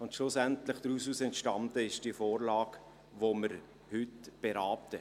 Schlussendlich entstand daraus die Vorlage, welche wir heute beraten.